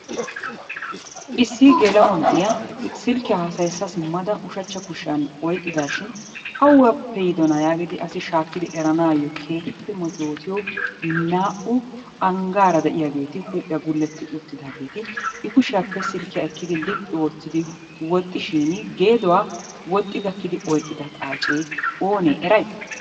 Issi geela'o na'iya silkkiya haasayissa simmada ushachcha kushiyan oyqqidaashin awappe yiidonaa yaagidi asi shaakkidi eranaayyo keehippe metootiyo naa"u anggaara de'iyageeti, huuphiya gulletti uttidaageeti I kushiyappe. silkkiya ekkidi liphphi oottidi woxishiini geeduwa woxxi gakkidi oyqqida xaacee oonee eray?